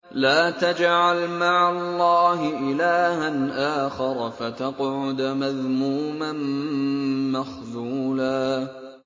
لَّا تَجْعَلْ مَعَ اللَّهِ إِلَٰهًا آخَرَ فَتَقْعُدَ مَذْمُومًا مَّخْذُولًا